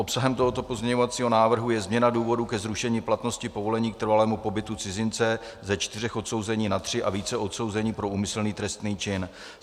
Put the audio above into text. Obsahem tohoto pozměňovacího návrhu je změna důvodu ke zrušení platnosti povolení k trvalému pobytu cizince ze čtyř odsouzení na tři a více odsouzení pro úmyslný trestný čin.